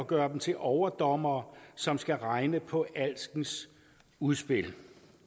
gøre dem til overdommere som skal regne på alskens udspil